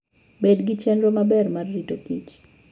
Bed gi chenro maber mar rito kich.